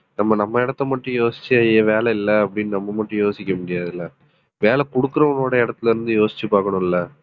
நம்ம நம்ம இடத்தை மட்டும் யோசிச்சு வேலை இல்லை அப்படின்னு நம்ம மட்டும் யோசிக்க முடியாதுல வேலை குடுக்கறவனோட இடத்தில இருந்து யோசிச்சு பாக்கணும்ல